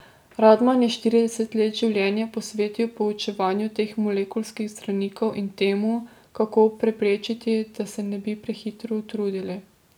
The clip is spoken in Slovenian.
Radman je štirideset let življenja posvetil proučevanju teh molekulskih zdravnikov in temu, kako preprečiti, da se ne bi prehitro utrudili.